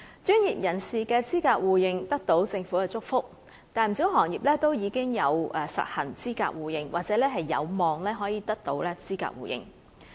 專業人士的資格互認，得到政府祝福，不少行業都已實行資格互認，或者有望得到資格互認。